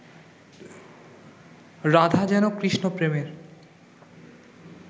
রাধা যেন কৃষ্ণ-প্রেমের